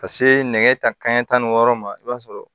Ka se nɛgɛ kanɲɛ tan ni wɔɔrɔ ma i b'a sɔrɔ